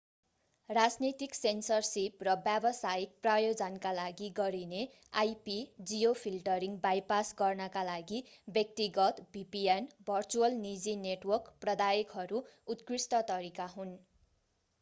राजनीतिक सेन्सरसिप र व्यावसायिक प्रयोजनका लागि गरिने ip- जियोफिल्टरिङ बाइपास गर्नका लागि व्यक्तिगत vpn भर्चुअल निजी नेटवर्क प्रदायकहरू उत्कृष्ट तरिका हुन्।